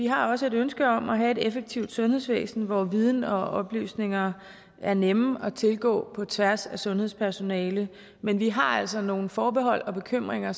har også et ønske om at have et effektivt sundhedsvæsen hvor viden og oplysninger er nemme at tilgå på tværs af sundhedspersonale men vi har altså nogle forbehold og bekymringer